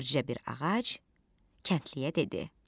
Pöhpürcə bir ağac kəndliyə dedi: